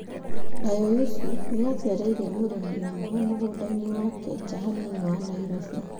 Dayo Yusuf nĩ acereire mũrĩmi ũmwe mũgũnda-inĩ wake nja hanini wa Nairobi.